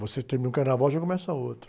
Você termina um carnaval e já começa outro.